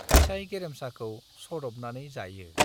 फिसाइ गेरेमसाखौ सद'बनानै जायो।